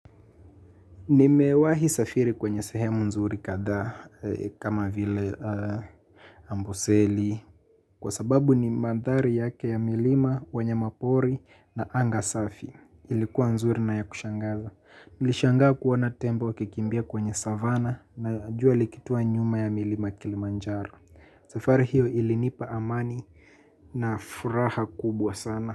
Nimewahi safiri kwenye sehemu nzuri kadha kama vile amboseli kwa sababu ni madhari yake ya milima wanyama pori na anga safi ilikuwa nzuri na ya kushangaza. Nilishangaa kuona tembo wakikimbia kwenye savana na jua likitua nyuma ya milima kilimanjaro. Safari hiyo ilinipa amani na furaha kubwa sana.